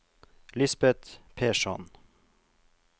Lisbet Persson